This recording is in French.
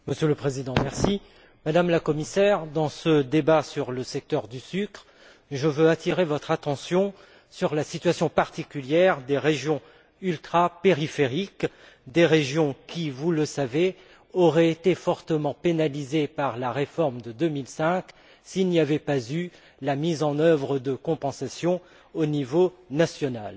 Monsieur le Président, Madame la Commissaire, dans ce débat sur le secteur du sucre, je tiens à attirer votre attention sur la situation particulière des régions ultrapériphériques, qui, vous le savez, auraient été fortement pénalisées par la réforme de 2005 s'il n'y avait pas eu la mise en œuvre de compensations au niveau national.